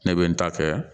Ne bɛ n ta kɛ